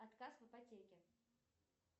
отказ в ипотеке